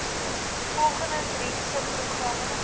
volgende drie subprogramme